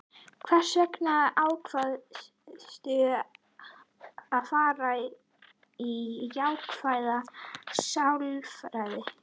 Hvers vegna ákvaðstu að fara í jákvæða sálfræði?